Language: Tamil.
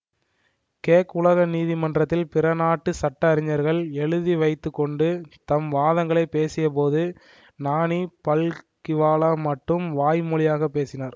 கேக் உலக நீதிமன்றத்தில் பிற நாட்டு சட்ட அறிஞர்கள் எழுதிவைத்துக் கொண்டு தம் வாதங்களைப் பேசியபோது நானி பல்கிவாலா மட்டும் வாய் மொழியாக பேசினார்